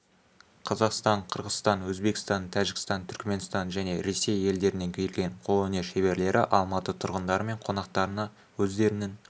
қазақстан қырғызстан өзбекстан тәжікстан түркіменстан және ресей елдерінен келген қолөнер шеберлері алматы тұрғындары мен қонақтарына өздерінің